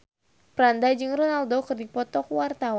Franda jeung Ronaldo keur dipoto ku wartawan